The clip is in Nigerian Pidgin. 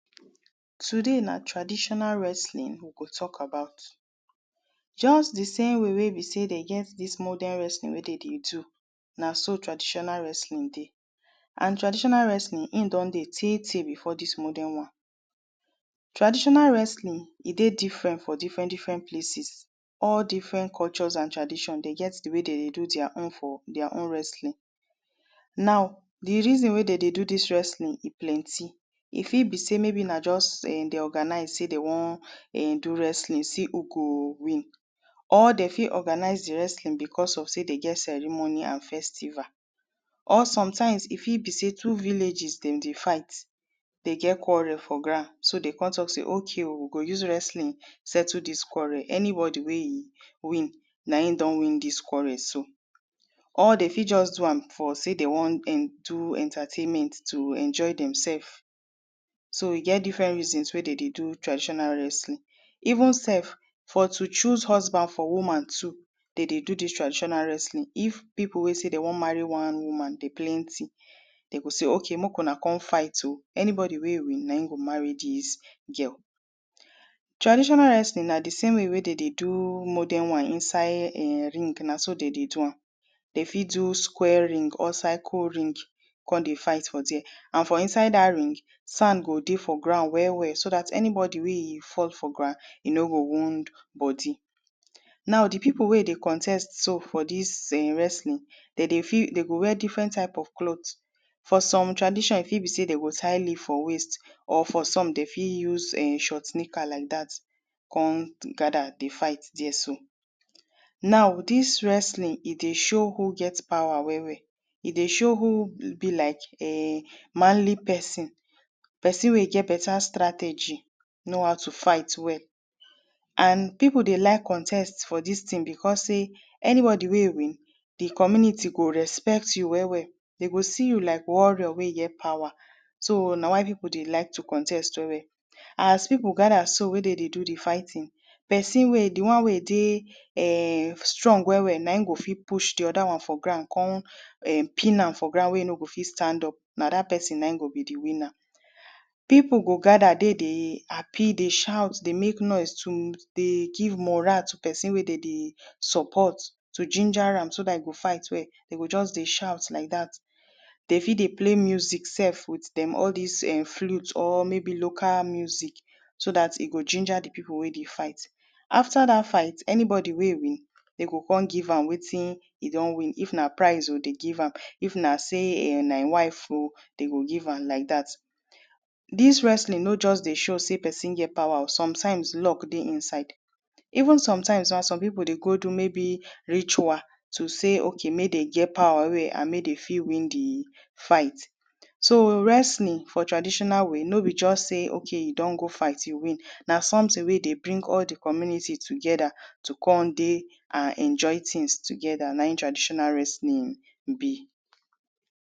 Today na traditional wrestling we dey tok about just di same way wey be sey dem get dis modern wrestling wey de dey do na so traditional wrestling be and traditional wrestling im don dey teh teh before dis modern one Traditional wrestling e dey different for different different places All different cultures and tradition dem get di way wey dem dey do their own for their own wrestling Now di reason wey dem de do dis wrestling e plenti E fit be sey maybe na just dem dey organize sey dem wan um do wrestling see who go win or dem fit organize di wrestling becos of sey dem get ceremony and festival or sometimes e fit be sey two villages dem dey fight de get quarrel for ground so de come tok say, OK o, we go use wrestling settle dis quarrel. Anybody wey win na im don win dis quarrel so or de fit just do am for sey dem wan um do entertainment to enjoy demsef so e get different reasons wey dem dey do traditional wrestling Even sef, for to choose husband for woman too de de do dis traditional wrestling if pipu wey say dem wan marry one woman de plenti de go say, OK make una come fight o. Anybodi wey win, na im go marry dis girl Traditional wrestling na di same way wey de de do modern one inside um ring na so dem dey do am dem fit do square ring or circle ring come dey fight for there and for inside dat ring, sand go de for ground well well so dat anybodi wey e fall for ground e no go wound bodi Now di pipu wey dey contest so for dis um wrestling dem dey, dem dey wear different type of cloth For some tradition e fit be sey dem go tie leaf for waist or for some de fit use um short knicker like dat come gather dey fight there so Now dis wrestling e dey show who get power well well e dey show who e be like um manly pesin pesin wey e get better strategy, know how to fight well and pipu dey like contest for dis tin becos sey, anybodi wey win, community go respect you well well, de go see you like warrior wey get power so na why pipu dey like to contest well well As pipu gather so we dem dey do di fighting pesin wey, di one wey dey um strong well well na im go fit push di other one for ground come um pin am for ground wey e no go fit stand up, na dat pesin na im go be di winner Pipu go gather de di dey happi, dey shout, dey make noise to dey give moral to pesin wey dem de support to jinja am so dat e go fight well, just dey shout like dat De fit dey play music sef, with dem all dis um flute or maybe local music so dat e go jinja di pipu wey dey fight After dat fight, anybodi wey win, dem go come give am wetin e don win. If na prize o, de give am, if na sey um na im wife o dem go giveam like dat Dis wrestling no just dey show sey pesin get power o, sometimes luck dey inside Even sometimes gan, some pipu dey go do maybe ritual to say, OK make dem get power wey am, make dem fit win di fight. So, wrestling for traditional way no be just say, Ok you don go fight you win Na something wey dey bring all di community together to come dey and enjoy tins together, na im traditional wrestling be